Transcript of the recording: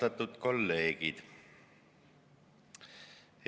Austatud kolleegid!